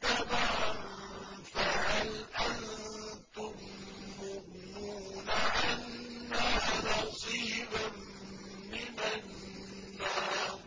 تَبَعًا فَهَلْ أَنتُم مُّغْنُونَ عَنَّا نَصِيبًا مِّنَ النَّارِ